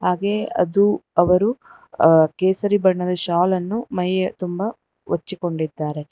ಹಾಗೆ ಅದು ಅವರು ಕೇಸರಿ ಹೆಸರು ಬಣ್ಣದ ಶಾಲ ನ್ನು ಮೈಯ್ಯತುಂಬ ಹಚ್ಚಿಕೊಂಡಿದ್ದಾರೆ.